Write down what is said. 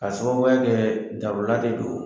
K'a sababuya kɛɛ darula de don